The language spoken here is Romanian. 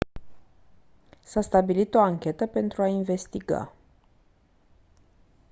s-a stabilit o anchetă pentru a investiga